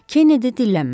Kennedy dillənmədi.